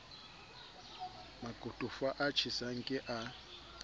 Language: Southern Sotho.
makotofa a tjhesang ke a